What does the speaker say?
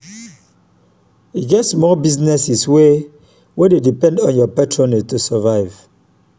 e get small businesses wey wey dey depend on yur patronage to survive.